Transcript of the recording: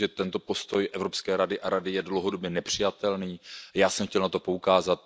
Myslím, že tento postoj Evropské rady a Rady je dlouhodobě nepřijatelný, a já jsem chtěl na to poukázat.